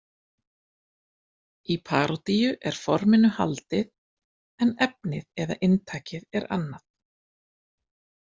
Í parodíu er forminu haldið en efnið eða inntakið er annað.